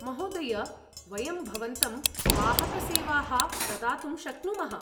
महोदय! वयं भवन्तं वाहकसेवाः प्रदातुं शक्नुमः।